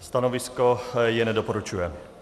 Stanovisko je nedoporučující.